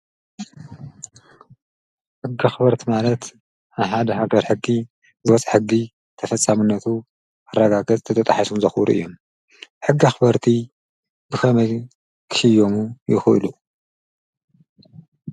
ሕጊ ኣኽበርቲ ማለት ኣብ ሓደ ሃገር ሕጊ ዝወፀ ሕጊ ተፈፃምነቱ ንክረጋገፅን እንተተጣሒሱ ዘክብሩን እዮም፡፡ ሕጊ ኣኽበርቲ ብኸመይ ክሽየሙ ይክእሉ?